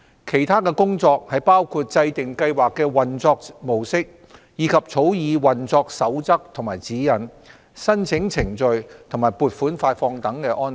其他的工作包括制訂計劃的運作模式，以及草擬運作守則和指引、申請程序和款額發放等安排。